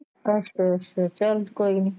ਅੱਛਾ ਅੱਛਾ ਚਲ ਕੋਈ ਨਹੀਂ।